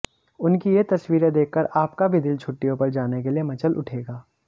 उनकी ये तस्वीरें देखकर आपका भी दिल छुट्टियों पर जाने के लिए मचल उठेगा